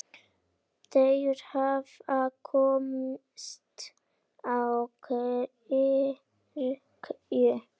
Þeir hafa komist á kirkju!